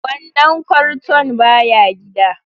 Wannan kwarton baya gida.